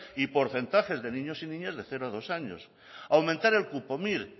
y porcentajes de niños y niñas de cero a dos años aumentar el cupo mire